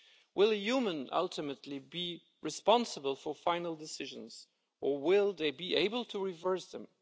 Will a human, ultimately, be responsible for final decisions or will they be able to reverse them?